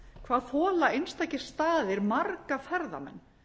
hvað þola einstakir staðir marga ferðamenn